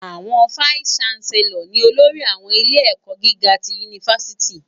Awòn fáìsí ṣánsèlòr ni ólórì áwòn ilé èkò gigá ti unifásìtí